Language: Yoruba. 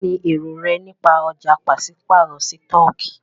Kínní èrò rẹ nípa ọ̀já pàṣípàrọ̀ sítọ̀kì?